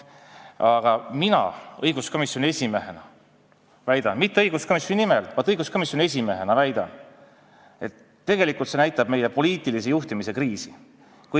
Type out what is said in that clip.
Aga mina õiguskomisjoni esimehena – mitte õiguskomisjoni nimel, vaid õiguskomisjoni esimehena – väidan, et tegelikult näitab see meie poliitilise juhtimise kriisi.